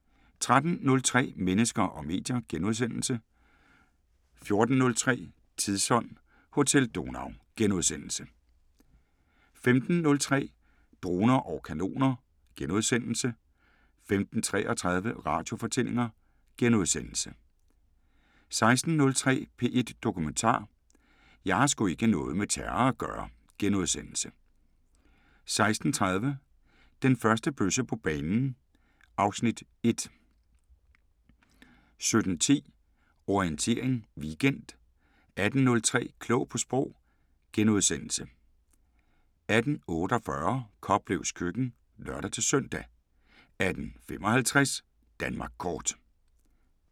13:03: Mennesker og medier * 14:03: Tidsånd: Hotel Donau * 15:03: Droner og kanoner * 15:33: Radiofortællinger * 16:03: P1 Dokumentar: 'Jeg har sgu ikke noget med terror at gøre' * 16:30: Den første bøsse på banen (Afs. 1) 17:10: Orientering Weekend 18:03: Klog på Sprog * 18:48: Koplevs køkken (lør-søn) 18:55: Danmark Kort